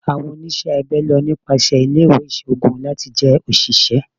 Awọn oniṣẹ abẹ lọ nipasẹ ile-iwe iṣoogun lati jẹ oṣiṣẹ